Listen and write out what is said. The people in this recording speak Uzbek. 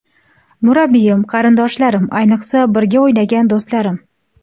Murabbiyim, qarindoshlarim, ayniqsa, birga o‘ynagan do‘stlarim.